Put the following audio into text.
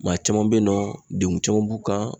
Maa caman bɛ yen nɔ denkun caman b'u kan